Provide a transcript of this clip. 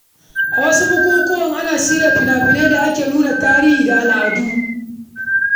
A wasu bukukuwa, ana shirya fina-finai da ke nuna tarihi da al’adun ƙasa.